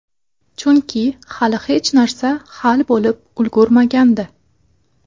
Chunki hali hech narsa hal bo‘lib ulgurmagandi.